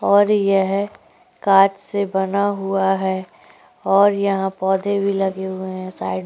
और यह कांच से बना हुआ है और यहां पौधे भी लगे हुए हैं| साइड --